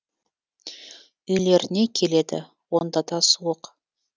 үйлеріне келеді онда да суық